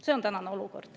See on tänane olukord.